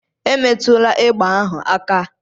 Emetụla egbe ahụ aka!